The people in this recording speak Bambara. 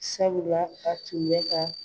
Sabula a tun bɛ ka